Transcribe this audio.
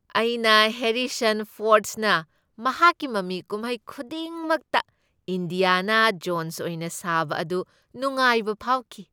ꯑꯩꯅ ꯍꯦꯔꯤꯁꯟ ꯐꯣꯔ꯭ꯗꯅ ꯃꯍꯥꯛꯀꯤ ꯃꯃꯤ ꯀꯨꯝꯍꯩ ꯈꯨꯗꯤꯡꯃꯛꯇ ꯏꯟꯗ꯭ꯌꯥꯅꯥ ꯖꯣꯟ꯭ꯁ ꯑꯣꯏꯅ ꯁꯥꯕ ꯑꯗꯨ ꯅꯨꯉꯥꯏꯕ ꯐꯥꯎꯈꯤ꯫